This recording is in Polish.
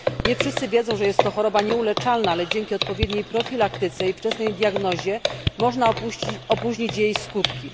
Nie wszyscy wiedzą, że jest to choroba nieuleczalna, ale dzięki odpowiedniej profilaktyce i wczesnej diagnozie można opóźnić jej skutki.